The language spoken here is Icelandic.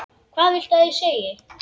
Hvað viltu ég segi?